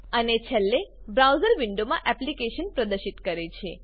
અને છેલ્લે બ્રાઉઝર વિન્ડોમાં એપ્લીકેશન પ્રદર્શિત કરે છે